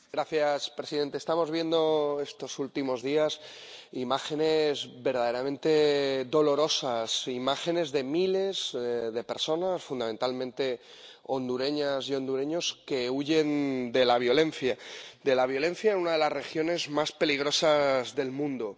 Señor presidente, estamos viendo estos últimos días imágenes verdaderamente dolorosas, imágenes de miles de personas, fundamentalmente hondureñas y hondureños, que huyen de la violencia en una de las regiones más peligrosas del mundo.